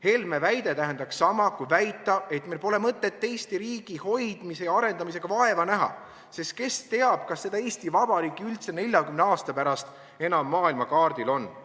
Helme väide tähendaks sama, kui väita, et meil pole mõtet Eesti riigi hoidmise ja arendamisega vaeva näha, sest kes teab, kas seda Eesti Vabariiki üldse 40 aasta pärast enam maailmakaardil on.